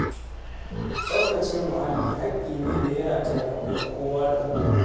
Tsaftace muhalli hakki ne da ya rata a wuyan kowa da kowa.